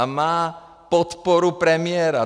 A má podporu premiéra.